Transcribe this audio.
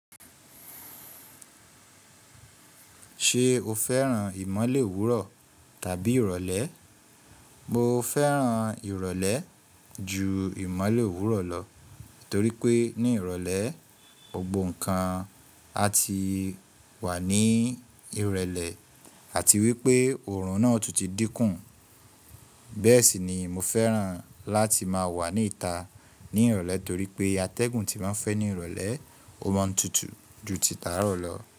Ṣé o fẹ́ràn ìmọ́lẹ̀ òwúrọ̀ tàbí ìrọ̀lẹ́? Mo fẹ́ràn ìrọ̀lẹ́ ju ìmọ́lẹ̀ òwúrọ̀ lọ, torí pé ní ìrọ̀lẹ́, gbobo nǹkan a ti wà ní ìrẹ̀lẹ̀ àti wípé oọ̀run náà tún ti dín kù. Bẹ́ẹ̀ sì ni mo fẹ́ràn láti máa wà ní ìta ní ìrọ̀lẹ́ torí pé atẹ́gùn tí máa ń fẹ́ ní ìrọ̀lẹ́, ó máa ń tutù ju títa arọ̀ lọ.